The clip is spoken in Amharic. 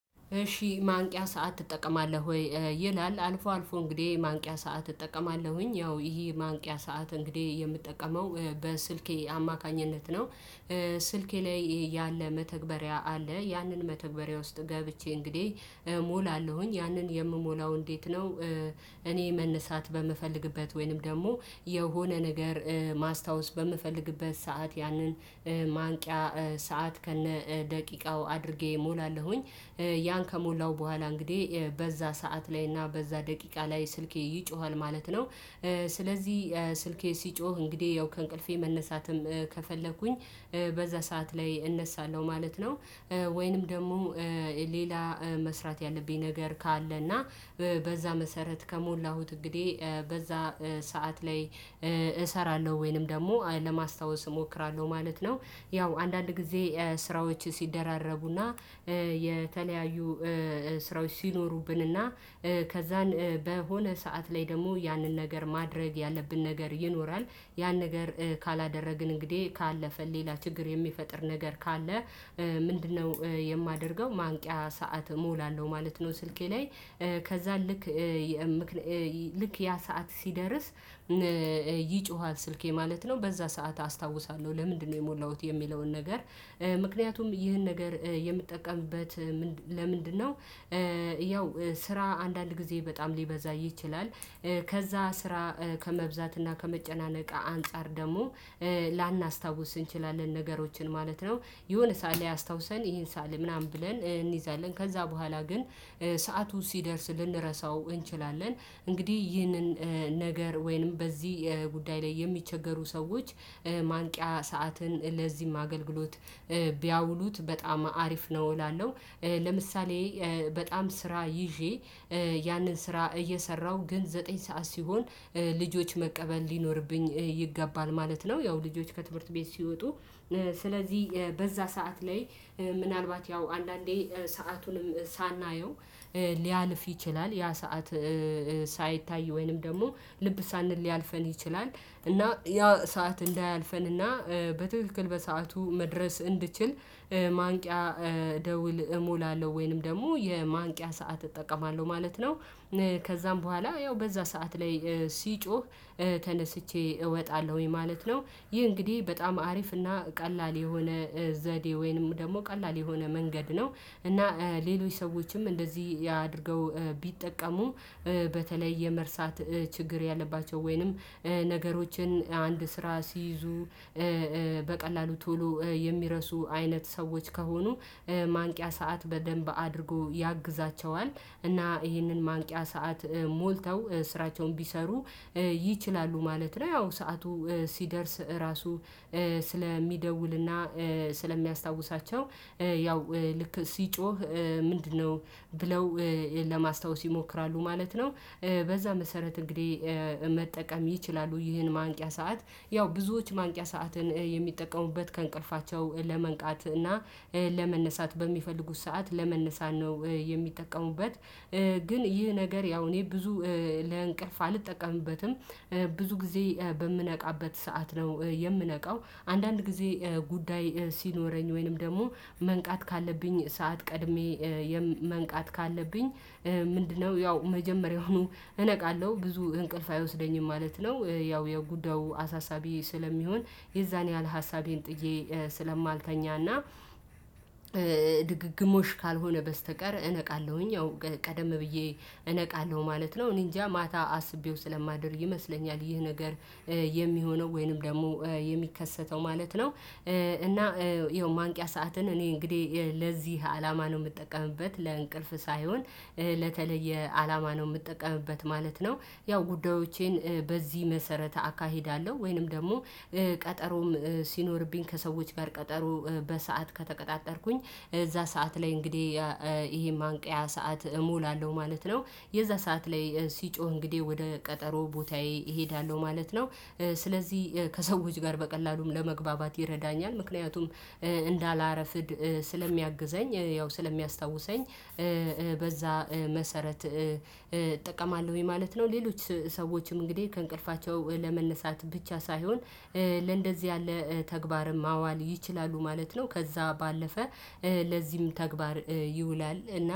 እሺ ማንቂያ ሰዓት ትጠቀማለሁ ወይ? ይላል አልፎ አልፎ እንግዲህ ማንቂያ ሰዓት እጠቀማለሁኝ ያው ይሄ ማንቂያ ሰዓት እንግዲህ የምጠቀመው በስልኬ አማካኝነት ነው። ስልኬ ላይ ያለ መተግበሪያ አለ ያንን መተግበሪያ ውስጥ ገብቼ እንግዲህ እሞላለኝ። ያንን የምሞላው እንዴት ነው? እኔ መነሳት በምፈልግበት ወይንም ደግሞ የሆነ ነገር ማስታወስ በምፈልግበት ሰዓት ያንን ማንቂያ ሰዓት ከነ ደቂቃው አድርጌ እሞላለሁኝ። ያን ከሞላው በኋላ እንግዲህ በዛ ሰዓት ላይ እና በዛ ደቂቃ ላይ ስልኬ ይጮሃል። ማለት ነው ስለዚህ ስልኬ ሲጮህ እንግዲህ ያው ከእንቅልፌ መነሳትም ከፈለኩኝ በዛ ሰዓት ላይ እነሳለሁ። ማለት ነው። ወይንም ደግሞ ሌላ መስራት ያለብኝ ነገር ካለ እና በዛ መሰረት ከሞላሁት እንግዲህ በዛ ሰዓት ላይ እሰራለሁ ወይንም ደግሞ ለማስታወስ እሞክራለሁ። ማለት ነው። ያው አንዳንድ ጊዜ ስራዎች ሲደራረቡና የተለያዩ ስራዎች ሲኖሩብን እና ከዛን በሆነ ሰዓት ላይ ደግሞ ያንን ነገር ማድረግ ያለብን ነገር ይኖራል። ያን ነገር ካላደረግን እንግዲህ ካለፈን ሌላ ችግር የሚፈጥር ነገር ካለ ምንድነ? የማደርገው ማንቂያ ሰዓት እሞላለሁ። ማለት ነው ስልኬ ላይ ከዛ ልክ ልክ ያ ሰዓት ሲደርስ ይጮሃል። ስልኬ ማለት ነው። በዛ ሰዓት አስታውሳለሁ ለምንድነው የሞላሁት የሚለውን ነገር ምክንያቱም ይህን ነገር የምጠቀምበት ለምንድነው? ያው ስራ አንዳንድ ጊዜ በጣም ሊበዛ ይችላል። ከዛ ስራ ከመብዛት እና ከመጨናነቅ አንፃር ደግሞ ላናስታውስ እንችላለን ነገሮችን ማለት ነው። የሆነ ሳል ያስታውሰን ይሄን ሳለ ምናምን ብለን እንይዛለን ከዛ በኋላ ግን ሰዓቱ ሲደርስ ልንረሳው እንችላለ። እንግዲህ ይህንን ነገር ወይንም በዚህ ጉዳይ ላይ የሚቸገሩ ሰዎች ማንቂያ ሰዓትን ለዚህም አገልግሎት ቢያውሉት በጣም አሪፍ ነው እላለሁ። ለምሳሌ በጣም ስራ ይዤ ያንን ስራ እየሰራሁ። ግን ዘጠኝ ሰዓት ሲሆን ልጆች መቀበል ሊኖርብኝ ይገባል። ማለት ነው ያው ልጆች ከትምህርት ቤት ሲወጡ ስለዚህ በዛ ሰዓት ላይ ምናልባት ያው አንዳንዴ ሰዓቱንም ሳናየው ሊያልፍ ይችላል። ያ ሰዓት ሳይታይ ወይንም ደግሞ ልብ ሳንል ሊያልፈን ይችላል። እና ያ ሰዓት እንዳያልፈን እና በትክክል በሰአቱ መድረስ እንድችል ማንቂያ ደውል እሞላለሁ። ወይንም ደግሞ የማንቂያ ሰዓት እጠቀማለሁ። ማለት ነው። ነ ከዛም በኋላ ያው በዛ ሰዓት ላይ ሲጮህ ተነስቼ እወጣለሁ። ማለት ነው። ይህ እንግዲህ በጣም አሪፍ እና ቀላል የሆነ ዘዴ ወይንም ደግሞ ቀላል የሆነ መንገድ ነው። እና ሌሎች ሰዎችም እንደዚህ አድርገው ቢጠቀሙ በተለይ የመርሳት ችግር ያለባቸው ወይንም ነገሮችን አንድ ስራ ሲይዙ በቀላሉ ቶሎ የሚረሱ አይነት ሰዎች ከሆኑ ማንቂያ ሰዓት በደንብ አድርጎ ያግዛቸዋል። እና ይሄንን ማንቂያ ሰዓት ሞልተው ስራቸውን ቢሰሩ ይችላሉ። ማለት ነው። ያው ሰዓቱ ሲደርስ ራሱ ስለሚደውል እና ስለሚያስታውሳቸው እ ያው ልክ ሲጮህ ምንድነው ብለው? ለማስታወስ ይሞክራሉ ማለት ነው። በዛ መሰረት እንግዲህ መጠቀም ይችላሉ። ይህን ማንቂያ ሰዓት ያው ብዙዎች ማንቂያ ሰዓትን የሚጠቀሙበት ከእንቅልፋቸው ለመንቃት እና ለመነሳት በሚፈልጉት ሰዓት ለመነሳን ነው። የሚጠቀሙበት። ግን ይህ ነገር ያው እኔ ብዙ ለእንቅልፍ አልጠቀምበትም ብዙ ጊዜ በምነቃበት ሰዓት ነው። የምነቃው አንዳንድ ጊዜ ጉዳይ ሲኖረኝ ወይንም ደግሞ መንቃት ካለብኝ ሰዓት ቀድሜ መንቃት ካለብኝ ምንድነው ያው መጀመሪያውኑ እነቃለሁ። ብዙ እንቅልፍ አይወስደኝም። ማለት ነው። ያው የጉዳዩ አሳሳቢ ስለሚሆን የዛን ያህል ሀሳቤን ጥዬ ስለማልተኛና ድግግሞች ካልሆነ በስተቀር እነቃለሁኝ። አዎ ቀደም ብዬ እነቃለሁ። ማለት ነው። እኔ እንጃ ማታ አስቤው ስለማደር ይመስለኛል። ይህ ነገር የሚሆነው ወይንም ደግሞ የሚከሰተው ማለት ነው። እና ይኸው ማንቂያ ሰዓትን እኔ እንግዲህ ለዚህ አላማ ነው የምጠቀምበት። ለእንቅልፍ ሳይሆን ለተለየ አላማ ነው። የምጠቀምበት ማለት ነው። ያው ጉዳዮቼን በዚህ መሰረተ አካሄዳለሁ ወይንም ደግሞ ቀጠሮም ሲኖርብኝ ከሰዎች ጋር ቀጠሮ በሰአት ከተቀጣጠርኩኝ እዛ ሰዓት ላይ እንግዲህ ይሄ ማንቂያ ሰዓት እሞላለሁ። ማለት ነው የዛ ሰዓት ላይ ሲጮህ እንግዲህ ወደ ቀጠሮ ቦታዬ እሄዳለሁ ማለት ነው። ስለዚህ ከሰዎች ጋር በቀላሉም ለመግባባት ይረዳኛል። ምክንያቱም እንዳላረፍድ ስለሚያግዘኝ ያው ስለሚያስታውሰኝ በዛ መሰረት እጠቀማለሁኝ። ማለት ነው ሌሎች ሰዎችም እንግዲህ ከእንቅልፋቸው ለመነሳት ብቻ ሳይሆን ለእንደዚህ ያለ ተግባርም አዋል ይችላሉ። ማለት ነው። ከዛ ባለፈ ለዚህም ተግባር ይውላል እና